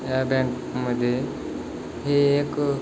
ह्या बँक मध्ये हे एक--